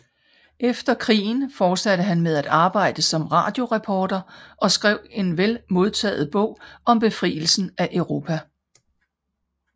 Efter krigen fortsatte han med at arbejde som radioreporter og skrev en vel modtaget bog om befrielsen af Europa